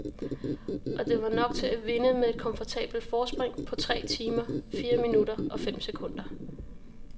Og det var nok til at vinde med et komfortabelt forspring på tre timer, fire minutter og fem sekunder.